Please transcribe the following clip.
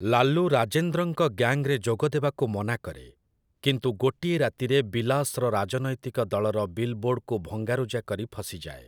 ଲାଲୁ ରାଜେନ୍ଦ୍ରଙ୍କ ଗ୍ୟାଙ୍ଗ୍‌ରେ ଯୋଗଦେବାକୁ ମନା କରେ, କିନ୍ତୁ ଗୋଟିଏ ରାତିରେ ବିଲାସ୍‌ର ରାଜନୈତିକ ଦଳର ବିଲ୍ ବୋର୍ଡକୁ ଭଙ୍ଗାରୁଜା କରି ଫସିଯାଏ ।